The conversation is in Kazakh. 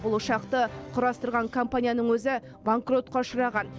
бұл ұшақты құрастырған компанияның өзі банкротқа ұшыраған